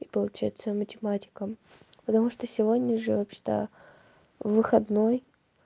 и получается математика потому что сегодня же вообще-то выходной